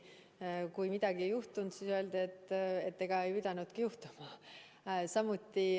Ja kui midagi ei juhtunud, siis öeldi, et ega ei pidanudki juhtuma.